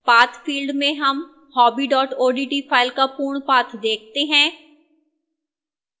path field में हम hobby odt file का पूर्ण path देखते हैं